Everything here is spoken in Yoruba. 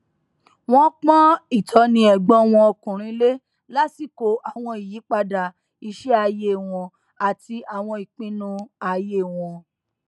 wọn pọn ìtọni ẹgbọn wọn ọkùnrin lé lásìkò àwọn ìyípadà iṣẹ ayé wọn àti àwọn ìpinnu ayé wọn